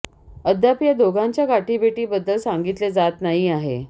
अद्याप या दोघांच्या गाठीभेटी बद्दल सांगितले जात नाही आहे